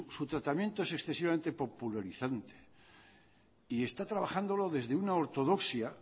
su tratamiento es excesivamente popularizante y está trabajándolo desde una ortodoxia